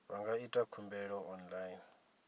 vha nga ita khumbelo online